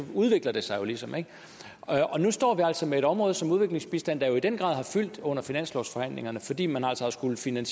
udvikler det sig jo ligesom ikke nu står vi altså med et område som udviklingsbistanden der jo i den grad har fyldt under finanslovsforhandlingerne fordi man altså har skullet finde